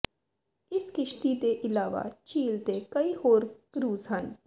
ਇਸ ਕਿਸ਼ਤੀ ਦੇ ਇਲਾਵਾ ਝੀਲ ਤੇ ਕਈ ਹੋਰ ਕਰੂਜ਼ ਹਨ